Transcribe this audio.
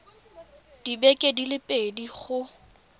dibeke di le pedi go